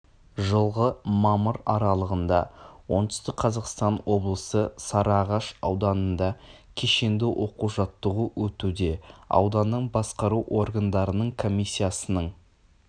жылғы мамыр аралығында оңтүстік қазақстан облысы сарыағаш ауданында кешенді оқу жаттығу өтуде ауданның басқару органдарының комиссиясының